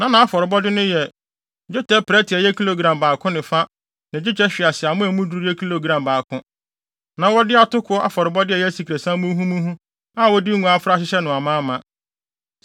Na nʼafɔrebɔde no yɛ: dwetɛ prɛte a ɛyɛ kilogram baako ne fa ne dwetɛ hweaseammɔ a emu duru yɛ kilogram baako. Na wɔde atoko afɔrebɔde a ɛyɛ asikresiam muhumuhu a wɔde ngo afra ahyehyɛ no amaama;